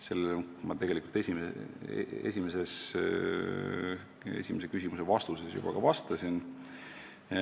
" Sellele ma esimese küsimuse vastuses juba ka vastasin.